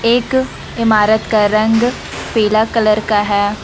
इक इमारत का रंग पीला कलर का है।